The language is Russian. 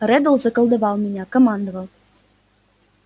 реддл заколдовал меня командовал